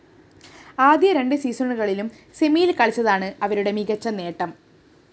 ആദ്യ രണ്ട്‌ സീസണുകളിലും സെമിയില്‍ കളിച്ചതാണ്‌ അവരുടെ മികച്ച നേട്ടം